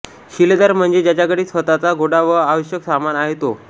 शिलेदार म्हणजे ज्याच्याकडे स्वतःचा घोडा व आवश्यक सामान आहे तो